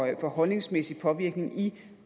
af holdningsmæssig påvirkning i